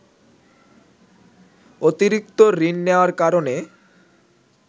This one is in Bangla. অতিরিক্ত ঋণ নেয়ার কারণে